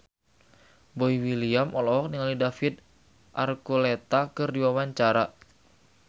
Boy William olohok ningali David Archuletta keur diwawancara